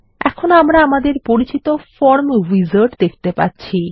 এখন আমরা আমাদের পরিচিত ফরম উইজার্ড দেখতে পাচ্ছি